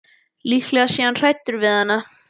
Líklega sé hann hræddur við hana.